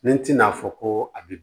Ni tɛn'a fɔ ko a bi